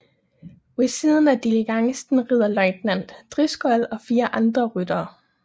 Ved siden af diligencen rider løjtnant Driscoll og fire andre ryttere